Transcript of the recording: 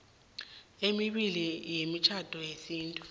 emibili yemitjhado yesintu